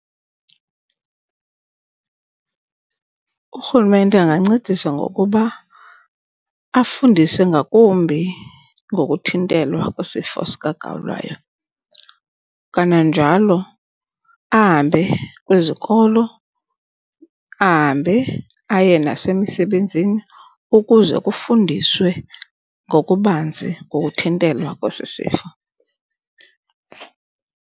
URhulumente angancedisa ngokuba afundise ngakumbi ngokuthintelwa kwesifo sikagawulayo. Kananjalo ahambe kwizikolo ahambe aye nasemisebenzini ukuze kufundiswe ngokubanzi ngokuthintelwa kwesi sifo.